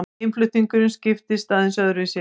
Innflutningurinn skiptist aðeins öðruvísi.